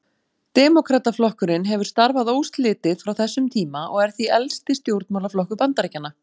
Demókrataflokkurinn hefur starfað óslitið frá þessum tíma og er því elsti stjórnmálaflokkur Bandaríkjanna.